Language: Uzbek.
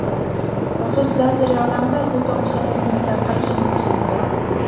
Maxsus lazer yordamida suv tomchilarining tarqalishini kuzatdi.